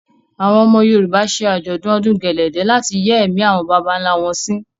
Àwọn ọmọ Yorùbá ṣe Àjọ̀dún ọdún gẹ̀lẹ̀dẹ̀ náà láti yẹ́ ẹ̀mí àwọn bàbà ńlá wọn sí.